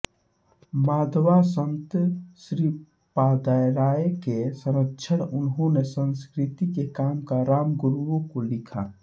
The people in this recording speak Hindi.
माधवा संत श्रीपादाराय के संरक्षक उन्होंने संस्कृत के काम रामगुरुओं को लिखा